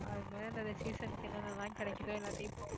அது மேல இந்த season க்கு என்னென்னலாம் கிடைக்குதோ எல்லாத்தையும் போட்டு